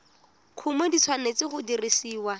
kumo di tshwanetse go dirisiwa